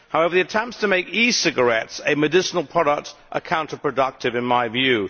However, the attempts to make e cigarettes a medicinal product are counterproductive in my view.